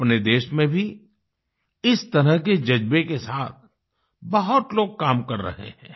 अपने देश में भी इस तरह के जज्बे के साथ बहुत लोग काम कर रहे हैं